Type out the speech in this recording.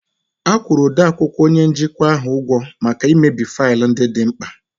A kwụrụ odeakwụkwọ onye njikwa ahụ ụgwọ maka imebi faịlụ ndị dị mkpa